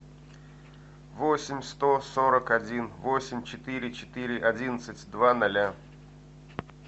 восемь сто сорок один восемь четыре четыре одиннадцать два ноля